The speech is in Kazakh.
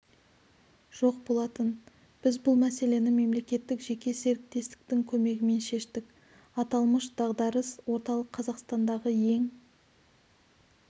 жоқ болатын біз бұл мәселені мемлекеттік жеке серіктестіктің көмегімен шештік аталмыш дағдарыс орталық қазақстандағы ең